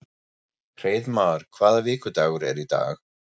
Hreiðmar, hvaða vikudagur er í dag?